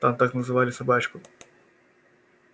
там так называли собачку